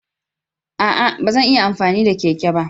A'a! Ba zan iya amfani da keke ba.